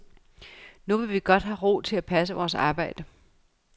Nu vil vi godt have ro til at passe vores arbejde.